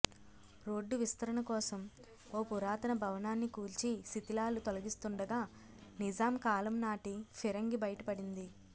road విస్తరణ కోసం ఓ పురాతన భవనాన్ని కూల్చి శిథిలాలు తొలగిస్తుండగా నిజాం కాలంనాటి ఫిరంగి బయటపడింది